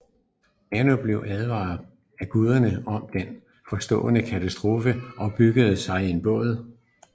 Manu blev advaret af gudene om den forestående katastrofe og byggede sig en båd